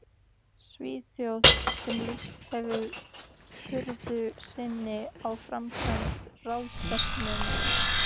Svíþjóð, sem lýst hefðu furðu sinni á framkvæmd ráðstefnunnar.